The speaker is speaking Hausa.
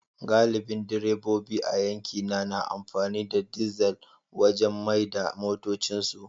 Galibin direbobi a yankina na amfani da dizal wajen mai da motocinsu